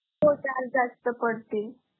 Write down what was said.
हो charges जास्त पडतील.